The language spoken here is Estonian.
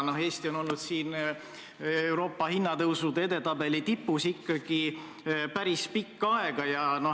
Ja Eesti on olnud siin Euroopa hinnatõusude edetabeli tipus ikkagi päris pikka aega.